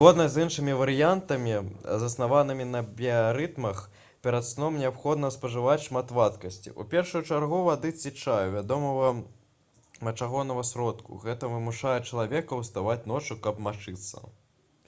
згодна з іншымі варыянтамі заснаванымі на біярытмах перад сном неабходна спажываць шмат вадкасці у першую чаргу вады ці чаю вядомага мачагоннага сродку — гэта вымушае чалавека ўставаць ноччу каб мачыцца